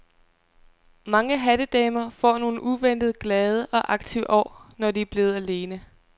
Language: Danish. Mange hattedamer får nogle uventet glade og aktive år, når de er blevet alene.